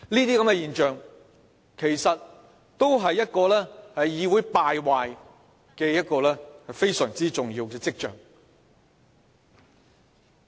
這些現象其實也是呈現議會敗壞非常重要的跡象。